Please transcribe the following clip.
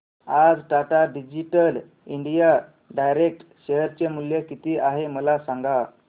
आज Tata digital India direct share चे मूल्य किती आहे मला सांगा